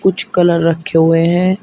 कुछ कलर रखे हुए हैं।